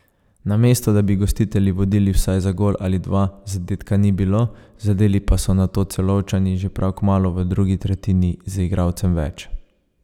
Namesto da bi gostitelji vodili vsaj za gol ali dva, zadetka ni bilo, zadeli pa so nato Celovčani že prav kmalu v drugi tretjini z igralcem več.